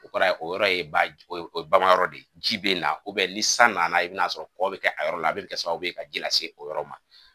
O kɔrɔ ye o yɔrɔ ye ba o ye bamayɔrɔ de ye ji bɛ na ni san nana i bɛn'a sɔrɔ k kɔ bɛ kɛ yɔrɔ la a bɛ kɛ sababu ye ka ji lase o yɔrɔ ma